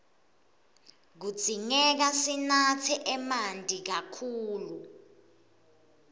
kudzingeka sinatse emanti kakhulu